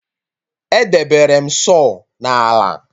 Edebere m saw na ala